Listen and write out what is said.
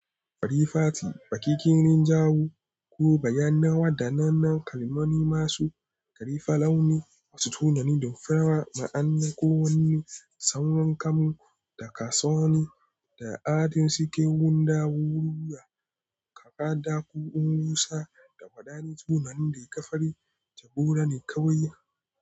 Farifati, baƙi, kirin, jawo ko bayyanawa da nanan kalmomi masu ƙarife launi, wasu tunani da farawa ma'ana ko wani saurinkamin da kasoani da adin cikin gundawo ruya, kakaduƙin rusa da faɗaɗa tunanin da ya ƙa farin jagora ne kawai.